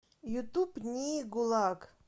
ютуб нии гулаг